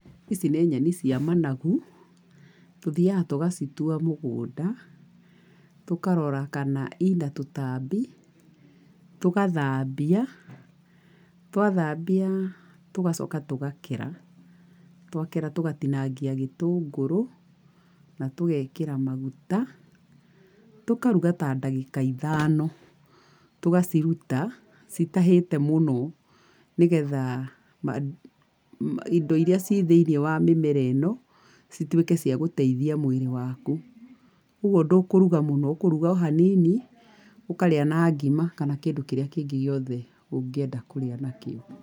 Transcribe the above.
Ici nĩ nyeni cia managu, tũthiaga tũgacitua mũgũnda, tũkarora ka ina tũtambi, tũgathambia, twathambia, tũgacoka tũgakera. Twakera tũgatinagia gĩtũngũrũ na tũgekĩra maguta. Tũkaruga ta ndagĩka ithano. Tũgaciruta citahĩĩte mũno, nĩgetha indo iria ciĩ thĩiniĩ wa mĩmera ĩno, cituĩke cia gũteithia mwĩrĩ waku. Koguo ndũkũruga mũno, ũkũruga o hanini ũkarĩa na ngima, kana kĩndũ kĩrĩa kĩngĩ gĩothe ũngĩenda kũrĩa nakĩo.